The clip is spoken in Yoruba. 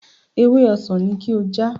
Ewé ọsàn ni kí o já!